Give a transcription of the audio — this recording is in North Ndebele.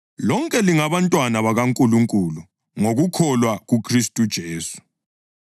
Lonke lingabantwana bakaNkulunkulu ngokukholwa kuKhristu uJesu